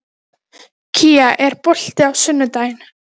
Steinólfur, hvað er á innkaupalistanum mínum?